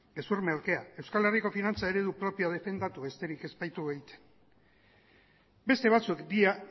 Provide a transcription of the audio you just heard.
gezur merkea euskal herriko finantza eredu propioa defendatu besterik ez baitugu egiten beste batzuk dira